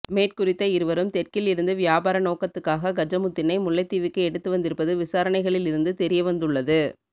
மேற்குறித்த இருவரும் தெற்கில் இருந்து வியாபார நோக்கத்துக்காக கஜமுத்தினை முல்லைத்தீவுக்கு எடுத்து வந்திருப்பது விசாரணைகளில் இருந்து தெரியவந்துள்ளது